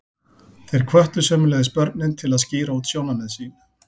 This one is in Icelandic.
Þeir hvöttu sömuleiðis börnin til að skýra út sjónarmið sín.